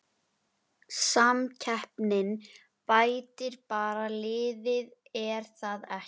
Í rústinni í forgrunni hefur mónum verið flett ofan af.